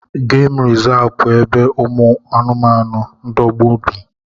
Geem resavu bụ ebe ụmụ anụmanụ ndogbu bi